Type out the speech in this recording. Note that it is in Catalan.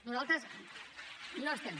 nosaltres no estem